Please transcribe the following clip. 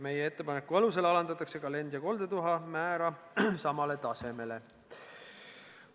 Meie ettepaneku alusel alandatakse ka lend- ja koldetuha määra samale tasemele.